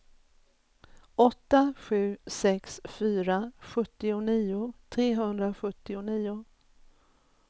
åtta sju sex fyra sjuttionio trehundrasjuttionio